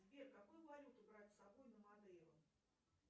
сбер какую валюту брать с собой на мадейру